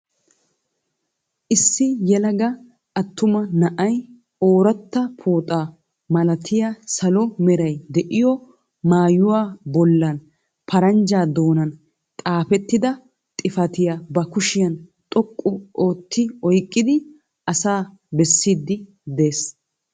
Issi yelega attuma na'ay orattaa pooxaa malatiyaa salo meray de'iyoo maayuwaa bollan paranjja doonan xaafettida xifatiyaa ba kushiyaan xoqqu ootti oyqqidi asaa bessiidi de'ees.